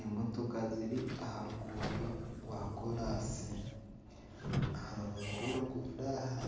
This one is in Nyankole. Emotoka ziri aha ruguudo rwakoraasi. Aha rubaju rw'oruguudo aha